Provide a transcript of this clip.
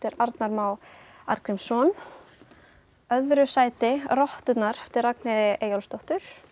Arnar Má Arngrímsson í öðru sæti rotturnar eftir Ragnheiði Eyjólfsdóttur